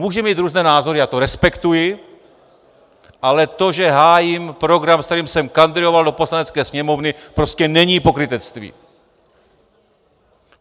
Můžeme mít různé názory, já to respektuji, ale to, že hájím program, s kterým jsem kandidoval do Poslanecké sněmovny, prostě není pokrytectví!